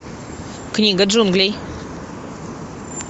книга джунглей